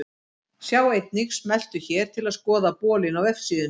Sjá einnig: Smelltu hér til að skoða bolinn á vefsíðunni.